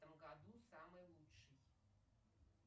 в этом году самый лучший